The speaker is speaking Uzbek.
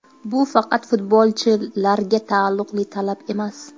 Bu faqat futbolchilarga taalluqli talab emas.